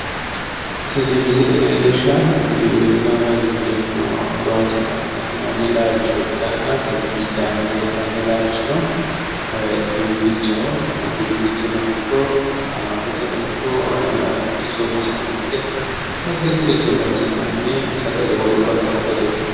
Tini misile leellishshaahu giwirinna woy giwirinnu loonse ka'ne fushshinoonni laalcho ikkanna tenne misile aana leellanno diinnichaho, diinichuno hatto qaamattoteno ikko iso umosino itate woy addi addiricho horonsi'nanni sagale wolqa uyitanno sagaleeti.